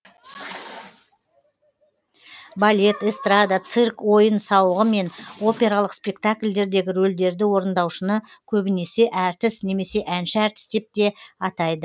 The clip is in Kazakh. балет эстрада цирк ойын сауығы мен опералық спектакльдегі рөлдерді орындаушыны көбінесе әртіс немесе әнші әртіс деп те атайды